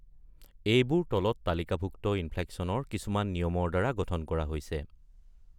এইবোৰ তলত তালিকাভুক্ত ইনফ্লেক্সনৰ কিছুমান নিয়মৰ দ্বাৰা গঠন কৰা হৈছে।